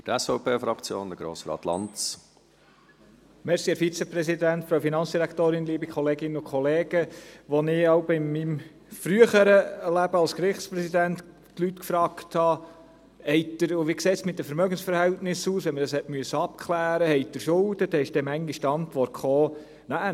Als ich in meinem früheren Leben als Gerichtspräsident die Leute fragte, wie es mit den Vermögensverhältnissen aussehe, wenn man dies abklären musste, und wissen wollte, ob sie Schulden hätten, lautete die Antwort zuweilen: «